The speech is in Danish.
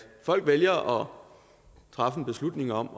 folk vælger træffer en beslutning om